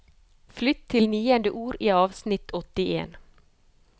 Flytt til niende ord i avsnitt åttien